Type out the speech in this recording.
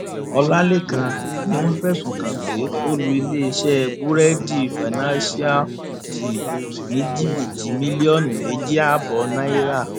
ọlàlẹkan ni wọn fẹsùn kàn pé ó lu iléeṣẹ búrẹẹdì financialte ní jìbìtì mílíọnù méjì ààbọ náírà